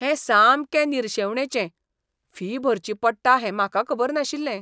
हें सामकें निरशेवणेचें, फी भरची पडटा हें म्हाका खबर नाशिल्लें .